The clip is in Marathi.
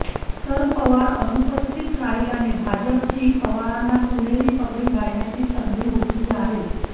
तर पवार अनुपस्थित राहल्यानं भाजपचीही पवारांना पुणेरी पगडी घालण्याची संधी हुकली आहे